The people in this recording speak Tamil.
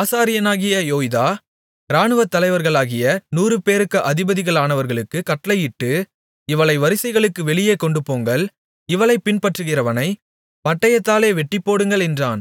ஆசாரியனாகிய யோய்தா இராணுவத்தலைவர்களாகிய நூறுபேருக்கு அதிபதிகளானவர்களுக்குக் கட்டளையிட்டு இவளை வரிசைகளுக்கு வெளியே கொண்டுபோங்கள் இவளைப் பின்பற்றுகிறவனைப் பட்டயத்தாலே வெட்டிப்போடுங்கள் என்றான்